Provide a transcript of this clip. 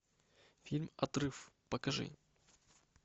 фильм отрыв покажи